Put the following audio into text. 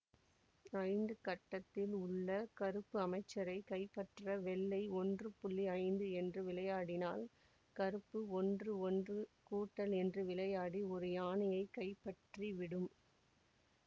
ஐந்து கட்டத்தில் உள்ள கருப்பு அமைச்சரை கைப்பற்ற வெள்ளை ஒன்று புள்ளி ஐந்து என்று விளையாடினால் கருப்பு ஒன்று ஒன்று கூட்டல் என்று விளையாடி ஒரு யானையைக் கைப்பற்றிவிடும்